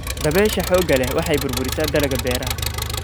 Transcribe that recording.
Dabaysha xoogga leh waxay burburisaa dalagga beeraha.